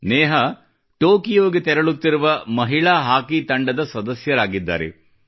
ನೇಹಾ ಟೊಕೊಯೋಗೆ ತೆರಳುತ್ತಿರುವ ಮಹಿಳಾ ಹಾಕಿ ತಂಡದ ಸದಸ್ಯರಾಗಿದ್ದಾರೆ